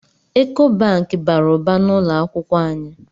Eko Banki bara ụba n’ụlọakwụkwọ anyị